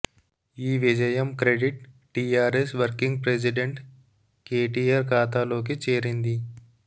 ఈ విజయం credit TRS working president KTR ఖాతాలోకి చేరింది